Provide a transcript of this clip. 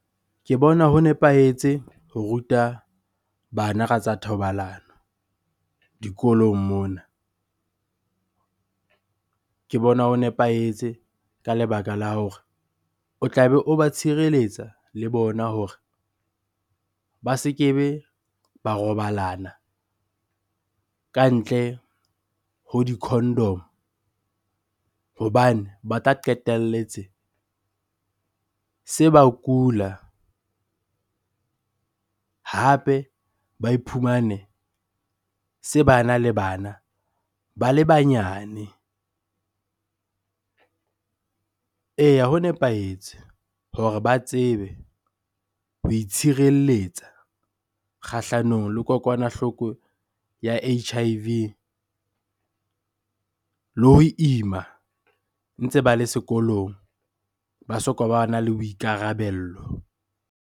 Ke bona ho nepahetse ho ruta bana ka tsa thobalano dikolong mona. Ke bona ho nepahetse ka lebaka la hore o tlabe o ba tshireletsa le bona hore ba se kebe ba robalana ka ntle ho di-condom-o hobane ba tla qetelletse se ba kula. Hape ba iphumane se bana le bana ba le banyane. Eya, ho nepahetse hore ba tsebe ho itshirelletsa kgahlanong le kokwanahloko ya H_I_V le ho ima ntse ba le sekolong ba soka bana le boikarabello.